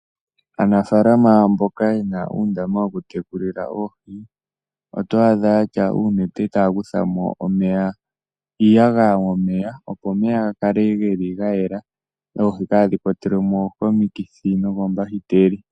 Aanafalama mboka yena uundama woku tekulila oohi otoya adha yatya uunete taya kutha iiyagaya momeya opo omeya gakale geli ga yela oohi kadhi kwatelwemo komikithi nokombahiteli.